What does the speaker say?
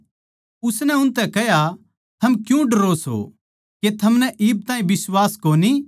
उसनै उनतै कह्या थम क्यूँ डरो सों के थमनै इब ताहीं बिश्वास कोनी